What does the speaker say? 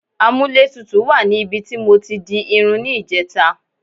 A múlẹ̀ tútù wà ní ibi tí mọ tí di irun ni ìjẹẹ̀ta.